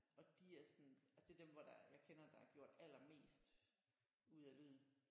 Og de er sådan altså det er dem hvor der jeg kender der har gjort allermest ud af lyden